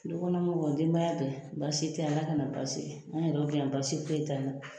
Du kɔnɔ mɔgɔw, denbaya bɛɛ, basi tɛ yan Ala ka na basi kɛ; an yɛrɛw bɛ yan basi foyi t'an na.